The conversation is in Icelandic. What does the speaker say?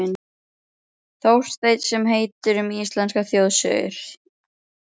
Þorstein sem heitir: Um íslenskar þjóðsögur.